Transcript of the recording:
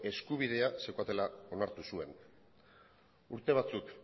eskubidea zeukatela onartu zuen urte batzuk